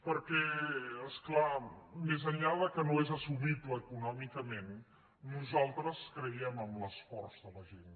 perquè és clar més enllà que no és assumible econòmicament nosaltres creiem en l’esforç de la gent